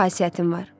Pis xasiyyətim var.